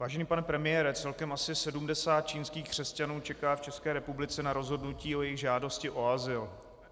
Vážený pane premiére, celkem asi 70 čínských křesťanů čeká v České republice na rozhodnutí o jejich žádosti o azyl.